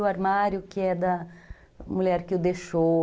O armário que é da mulher que o deixou.